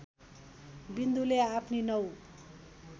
विन्दुले आफ्नी नौ